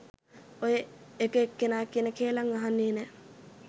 ඔය එක එක්කෙනා කියන කේළම් අහන්නෙ නැ.